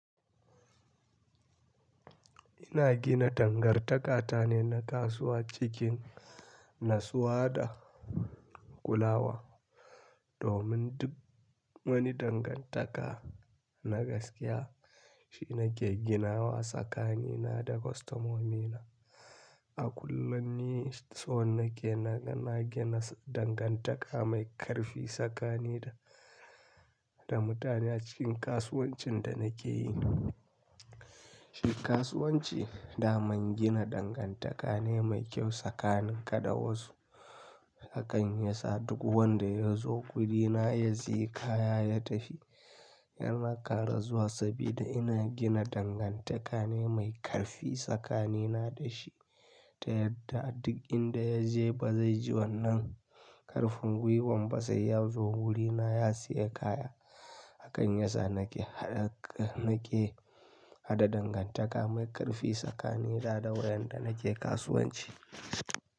Ina gina dangantakata ne na kasuwa cikin natsuwa da kulawa. Domin duk wani dangantaka na gaskiya shina ke ginawa tsakanina da kwastomomina. A kullum ni so nake, na gina dangantaka mai ƙarfi tsakanina da mutane a cikin kasuwancin da nake yi. Shi kasuwanci daman gina dangantaka ne mai kyau tsakanin ka da wasu. Hakan yasa duk wanda ya zo wurina ya sayi kaya ya tafi, yana karazuwa saboda ina gina dangantaka ne mai ƙarfi tsakanina da shi. Ta yadda duk inda ya je ba zai ji wannan ƙarfin gwiwan ba, sai ya zo wurina ya sayi kaya. Hakan yasa nake, nake haɗa dangantaka mai ƙarfi tsakanina da wadan da nake kasuwanci.